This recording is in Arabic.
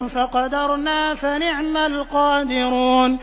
فَقَدَرْنَا فَنِعْمَ الْقَادِرُونَ